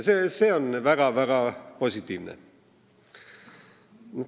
See on väga positiivne.